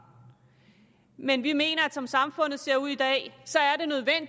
men vi mener at som samfundet ser ud i dag så er